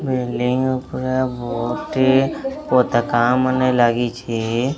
Building ଉପରେ ବହୁତି ପତାକା ମାନେ ଲାଗିଛି।